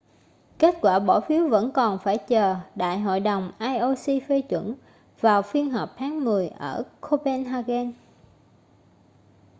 kết quả bỏ phiếu vẫn còn phải chờ đại hội đồng ioc phê chuẩn vào phiên họp tháng mười ở copenhagen